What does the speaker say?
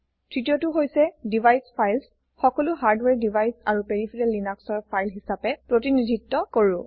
তৃতীয়টো হৈছে device Files সকলো হাৰদ্বাৰে ডিভাইচ আৰু পেৰিফেৰাল লিনাক্সৰ ফাইল হিচাপে প্ৰতিনিধিত্ব কৰো